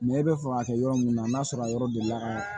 i bɛ fɛ ka kɛ yɔrɔ min na n'a sɔrɔ a yɔrɔ delila ka